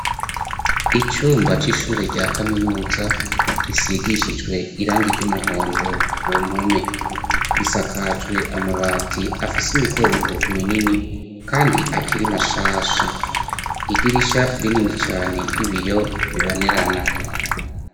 icumba c'ishure rya kaminuza risigishijwe irangi ry'umuhondo ku mpome risakajwe amabati afise imikongo minini kandi akiri mashasha idirisha rinini cane ry'ibiyo bibonerana.